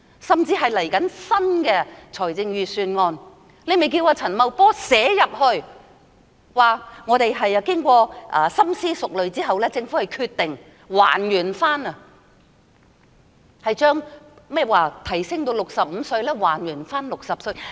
甚至是稍後的新一份財政預算案，她可以要求陳茂波在預算案中表示，政府經過深思熟慮後，決定將提高至65歲的門檻還原至60歲。